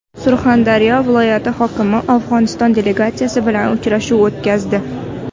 Surxondaryo viloyati hokimi Afg‘oniston delegatsiyasi bilan uchrashuv o‘tkazdi.